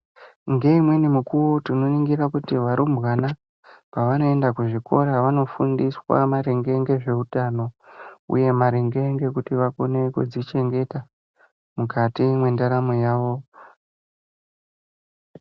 Ngeimweni nguwa tinoona kuti varumbwana vanoenda kuzvikora vanofundiswa maringe ngezveutano uye nedzimweni nguwa vanofundiswa maringe ngekukone kuzvichengeta mukati mwendaramo yavo.